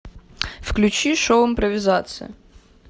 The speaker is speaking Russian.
включи шоу импровизация